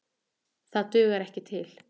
Það dugar ekki til.